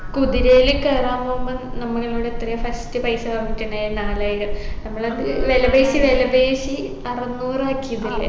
കുതിരയില് കയറാൻ പോവുമ്പൊ നമ്മളോട് എത്രയാ first പൈസ പറഞ്ഞിട്ടുണ്ടായത് നാലായിരം നമ്മളത് വിലപേശി വിലപേശി അറുനൂറാക്കിയതല്ലേ